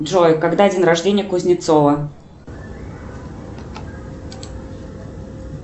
джой когда день рождения кузнецова